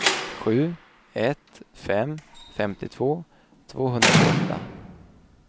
sju ett sju fem femtiotvå tvåhundratjugoåtta